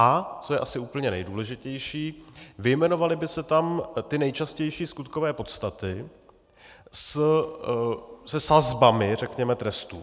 A co je asi úplně nejdůležitější, vyjmenovaly by se tam ty nejčastější skutkové podstaty se sazbami, řekněme, trestů.